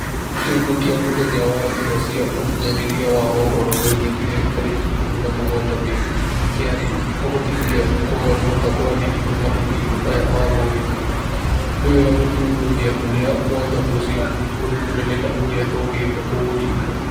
Kĩongo kĩa mũthenya wa njĩra cia ũkinyanĩria wa mohoro wekĩkire 17 Mĩĩ . Kĩarĩ "Kuhotithia Kũgarũrũka kwa Digito mahinda-inĩ maya ma moritũ". Nĩ wega gũthuthuria ũrĩa mwenya ucio urĩ mũnene na ũrĩa tũngĩka kũũhinga.